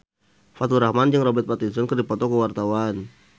Faturrahman jeung Robert Pattinson keur dipoto ku wartawan